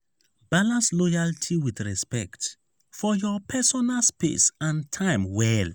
balance loyalty with respect for your personal space and time well.